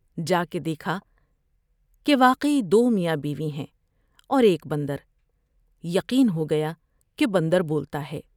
جاکے دیکھا کہ واقعی دومیاں بیوی ہیں اور ایک بندر یقین ہو گیا کہ بندر بولتا ہے ۔